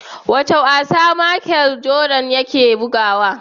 Wane wasa machel jordan yake bugawa?